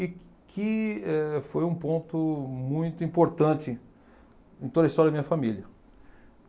E que eh foi um ponto muito importante em toda a história da minha família.